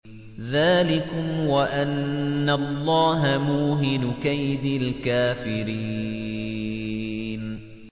ذَٰلِكُمْ وَأَنَّ اللَّهَ مُوهِنُ كَيْدِ الْكَافِرِينَ